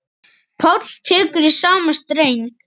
Páll tekur í sama streng.